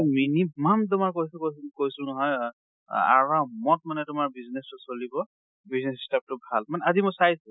minimum তোমাৰ কৈছোঁ কৈছোঁ কৈছোঁ নহয় আ~, আৰামত মানে তোমাৰ business টো চলিব। business set up টো ভাল, মানে আজি মই চাইছো